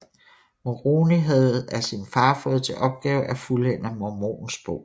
Moroni havde af sin far fået til opgave at fuldende Mormons Bog